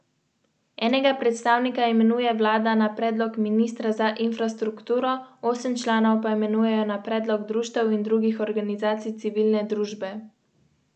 Za to pa bodo morali izpolnjevati določene pogoje.